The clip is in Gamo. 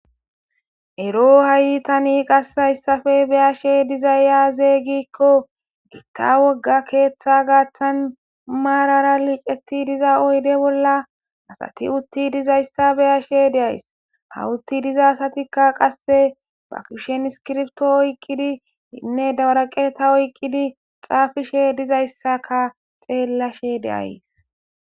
Ero hayitani qas hayssafe beyashe diza yaazeygikko gitta wogga keeththa gaaththan maarara liiceti diza oyde bolla asati utti dizayssa beyashe deays hawutti diza asatikka qasse ba kushen skirfto oykqidi hinne dawaraqeta oyqqidi xaafishe dizayssaka xeellashe deays.